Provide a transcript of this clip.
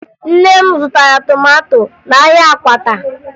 Nne m zụtara tomato n'ahịa Akwata